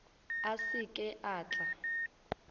a se ke a tla